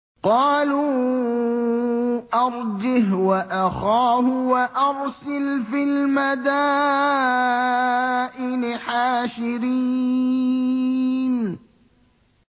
قَالُوا أَرْجِهْ وَأَخَاهُ وَأَرْسِلْ فِي الْمَدَائِنِ حَاشِرِينَ